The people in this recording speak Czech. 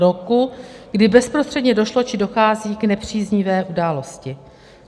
Roku, kdy bezprostředně došlo či dochází k nepříznivé události.